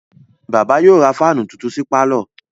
Bàbá yóò ra fáánù tuntun sí pálọ̀.